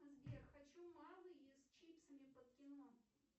сбер хочу малые с чипсами под кино